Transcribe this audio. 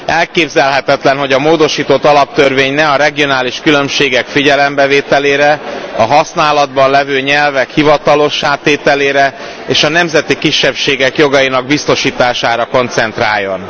Elképzelhetetlen, hogy a módosított alaptörvény ne a regionális különbségek figyelembevételére, a használatban lévő nyelvek hivatalossá tételére és a nemzeti kisebbségek jogainak biztosítására koncentráljon.